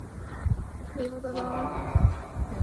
собака